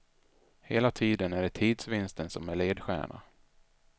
Hela tiden är det tidsvinsten som är ledstjärna.